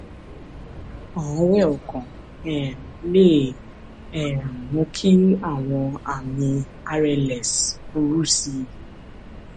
àárẹ ọkàn um lè um mú kí àwọn àmì rls burú sí i